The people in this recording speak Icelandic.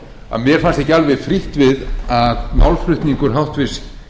að mér fannst ekki alveg frítt við að málflutningur háttvirts